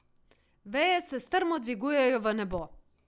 Veje se strmo dvigujejo v nebo.